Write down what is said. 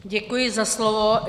Děkuji za slovo.